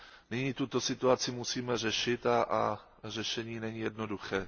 Nyní tuto situaci musíme řešit a řešení není jednoduché.